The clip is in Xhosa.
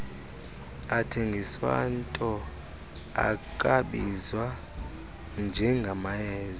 athengiswato akwabizwa njengamayeza